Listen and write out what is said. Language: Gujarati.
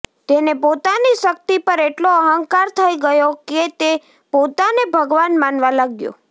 તેને પોતાની શક્તિ પર એટલો અહંકાર થઈ ગયો કે તે પોતાને ભગવાન માનવા લાગ્યો